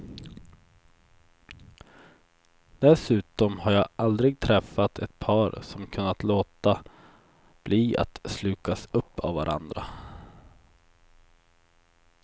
Dessutom har jag aldrig träffat ett par som kunnat låta bli att slukas upp av varandra.